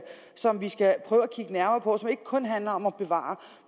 som vi skal prøve at kigge nærmere på og som ikke kun handler om at bevare